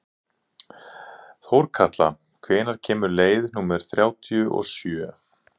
Þórkatla, hvenær kemur leið númer þrjátíu og sjö?